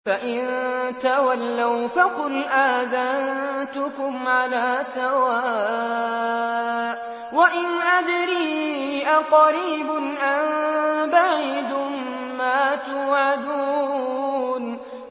فَإِن تَوَلَّوْا فَقُلْ آذَنتُكُمْ عَلَىٰ سَوَاءٍ ۖ وَإِنْ أَدْرِي أَقَرِيبٌ أَم بَعِيدٌ مَّا تُوعَدُونَ